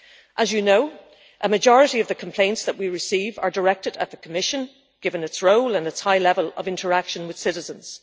As you know, a majority of the complaints that we receive are directed at the Commission, given its role and its high level of interaction with citizens.